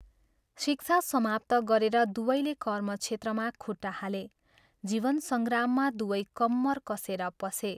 शिक्षा समाप्त गरेर दुवैले कर्मक्षेत्रमा खुट्टा हाले, जीवन संग्राममा दुवै कम्मर कसेर पसे।